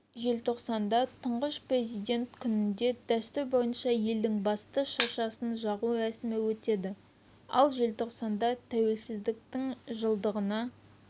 желтоқсанда тұңғыш президент күнінде дәстүр бойынша елдің басты шыршасын жағу рәсімі өтеді ал желтоқсанда тәуелсіздіктің жылдығына